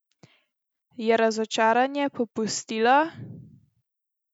Je razočaranje popustilo?